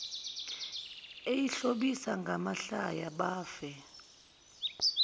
eyihlobisa ngamahlaya bafe